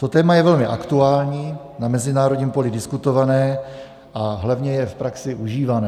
To téma je velmi aktuální, na mezinárodním poli diskutované a hlavně je v praxi užívané.